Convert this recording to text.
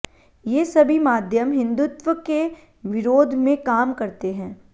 ये सभी माध्यम हिंदुत्वके विरोधमें काम करते हैं